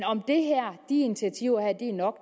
om de her initiativer er nok